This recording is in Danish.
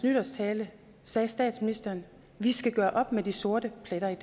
nytårstale sagde statsministeren vi skal gøre op med de sorte pletter i